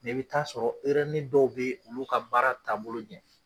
Ne bi taa sɔrɔ ni dɔw be yen, olu ka baara taabolo ɲɛ